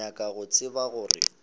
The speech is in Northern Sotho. ke nyaka go tseba gore